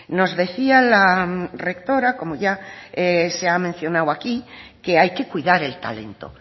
nos decía la rectora como ya se ha mencionado aquí que hay que cuidar el talento